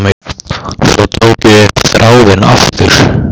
Svo tók ég upp þráðinn aftur.